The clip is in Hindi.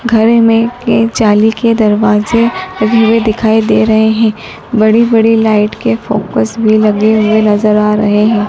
घर में ए जाली के दरवाजे दिखाई दे रहे हैं बड़ी बड़ी लाइट के फोकस भी लगे हुए नज़र आ रहे हैं।